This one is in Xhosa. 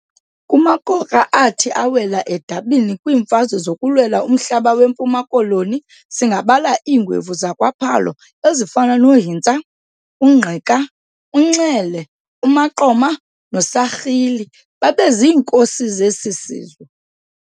Kumagorha athi awela edabini kwiimfazwe zokulwela umhlaba weMpuma Koloni singabala iingwevu zakwa Phalo ezifana no Hintsa, uNgqika, uNxele, uMaqoma no Sarhili, babe ziinkosi zesi sizwe.